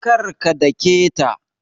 Kar ka dake ta